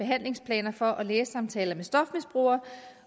handlingsplaner for og lægesamtaler med stofmisbrugere